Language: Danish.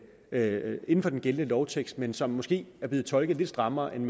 er inden for den gældende lovtekst men som måske er blevet tolket lidt strammere end